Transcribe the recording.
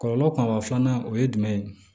Kɔlɔlɔ kumaba filanan o ye jumɛn ye